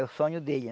É o sonho dele,